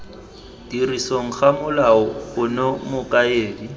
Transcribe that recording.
tirisong ga molao ono mokaedi